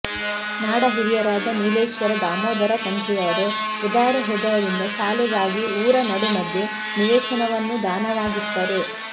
ನಾಡ ಹಿರಿಯರಾದ ನೀಲೇಶ್ವರ ದಾಮೋದರ ತಂತ್ರಿಯವರು ಉದಾರ ಹೃದಯದಿಂದ ಶಾಲೆಗಾಗಿ ಊರ ನಡುಮಧ್ಯೆ ನಿವೇಶನವನ್ನು ದಾನವಾಗಿತ್ತರು